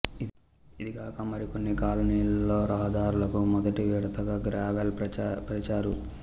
ఇదిగాక మరికొన్ని కాలనీలలో రహదార్లకు మొదటి విడతగా గ్రావెల్ పరిచారు